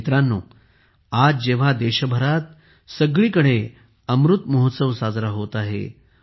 मित्रांनो आज जेव्हा देशभरात सगळीकडेअमृत महोत्सव साजरा होत आहे